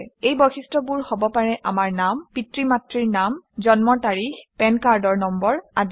এই বৈশিষ্ট্যবোৰ হব পাৰে আমাৰ নাম পিতৃ মাতৃৰ নাম জন্মৰ তাৰিখ পেন কাৰ্ডৰ নম্বৰ আদি